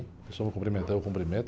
Se a pessoa me cumprimentar, eu cumprimento.